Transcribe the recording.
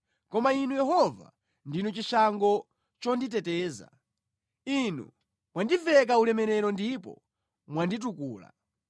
Koma Inu Yehova, ndinu chishango chonditeteza, Inu mwandiveka ulemerero ndipo mwanditukula.